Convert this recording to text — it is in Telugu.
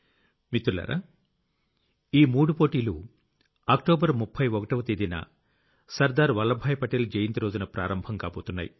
మిత్రులారా ఈ మూడు పోటీలూ అక్టోబర్ 31వ తేదీన సర్దార్ వల్లభాయ్ పటేల్ జయంతి రోజున ప్రారంభం కాబోతున్నాయి